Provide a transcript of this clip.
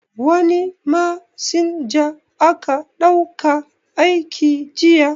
Wani masinja aka dauka aiki jiya